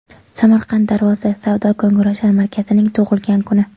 Samarqand Darvoza savdo-ko‘ngilochar markazining tug‘ilgan kuni.